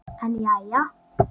En jæja.